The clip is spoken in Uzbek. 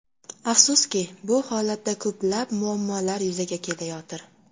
Afsuski, bu holatda ko‘plab muammolar yuzaga kelayotir.